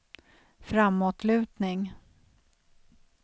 framåtlutning